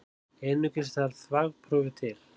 Einungis þarf þvagprufu til.